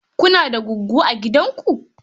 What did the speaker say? Kuna da goggo a gidanku?